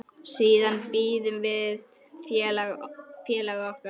Siðan biðum við félaga okkar.